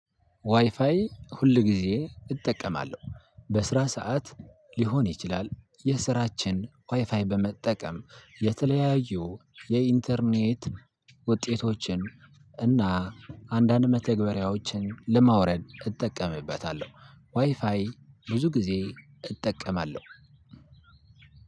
ዋይፋይ ሁል ጊዜ እጠቀማለሁ በስራ ሰዓት ሊሆን ይችላል። የስራችን ዋይፋይ በመጠቀም የተለያዩ የኢንተርኔት ውጤቶችን እና አንዳንድ መተግበሪያዎችን ለማውረድ እጠቀምበታለሁ። ዋይፋይ ብዙ ጊዜ እጠቀማለሁ።